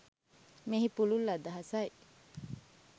මෙහි පුළුල් අදහසයි.